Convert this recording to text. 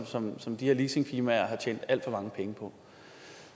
som som de her leasingfirmaer har tjent alt for mange penge på